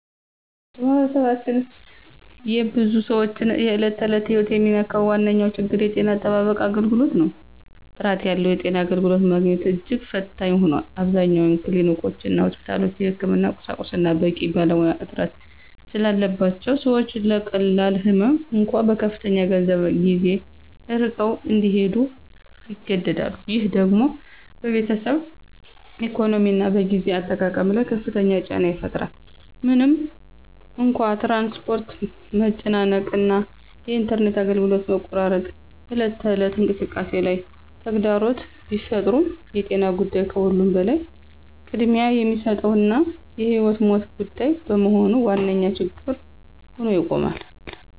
በማኅበረሰባችን የብዙ ሰዎችን የዕለት ተዕለት ሕይወት የሚነካው ዋነኛው ችግር የጤና አጠባበቅ አገልግሎት ነው። ጥራት ያለው የጤና አገልግሎት ማግኘት እጅግ ፈታኝ ሆኗል። አብዛኞቹ ክሊኒኮችና ሆስፒታሎች የሕክምና ቁሳቁስና በቂ ባለሙያ እጥረት ስላለባቸው ሰዎች ለቀላል ህመም እንኳ በከፍተኛ ገንዘብና ጊዜ ርቀው እንዲሄዱ ይገደዳሉ። ይህ ደግሞ በቤተሰብ ኢኮኖሚና በጊዜ አጠቃቀም ላይ ከፍተኛ ጫና ይፈጥራል። ምንም እንኳ የትራንስፖርት መጨናነቅ እና የኢንተርኔት አገልግሎት መቆራረጥ በዕለት ተዕለት እንቅስቃሴ ላይ ተግዳሮት ቢፈጥሩም የጤና ጉዳይ ከሁሉም በላይ ቅድሚያ የሚሰጠውና የሕይወትና ሞት ጉዳይ በመሆኑ ዋነኛ ችግር ሆኖ ይቆማል።